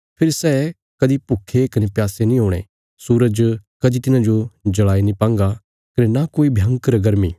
फेरी सै कदीं भुक्खे कने प्यासे नीं हुणे सूरज कदीं तिन्हाजो जल़ाई नीं पांगा कने नां कोई भयंकर गर्मी